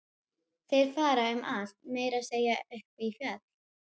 Þeir fara um allt, meira að segja upp í fjall.